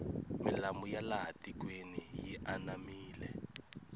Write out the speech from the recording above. milambo ya laha tikweni yi anamile